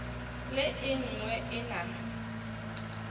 le e nngwe e na